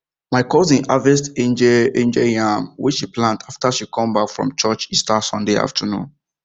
my cousin harvest angel angel yam wey she plant after she come back from church easter sunday afternoon